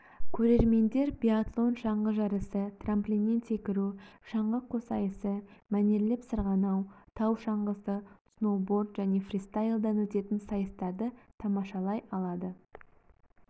көрермендер биатлон шаңғы жарысы трамплиннен секіру шаңғы қоссайысы мәнерлеп сырғанау тау шаңғысы сноуборд және фристайлдан өтетін сайыстарды тамашалай алады